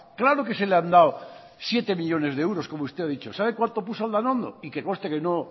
claro que se le han dado siete millónes de euros como usted ha dicho sabe cuanto puso aldanondo y que conste que no